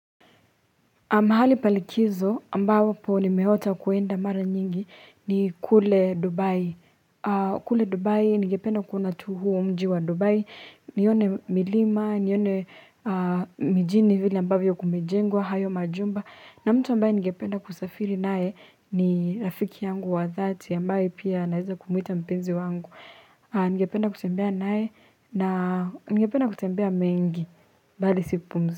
Mahali pa likizo ambapo nimeota kuenda mara nyingi ni kule Dubai. Kule Dubai, ningepena kuona tu huo mji wa Dubai. Nione milima, nione mijini vile ambavyo kumejengwa, hayo majumba. Na mtu ambaye ningependa kusafiri nae ni rafiki yangu wa dhati ambaye pia naweza kumuita mpenzi wangu. Ningependa kutembea naye na ningependa kutembea mengi bali si kupumzika.